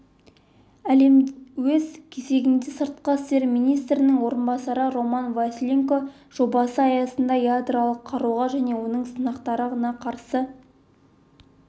өз кезегінде сыртқы істер министрінің орынбасары роман василенко жобасы аясында ядролық қаруға және оның сынақтарына қарсы